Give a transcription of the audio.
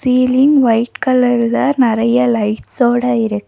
ceiling white கலர்ல நெறைய லைட்ஸோட இரு--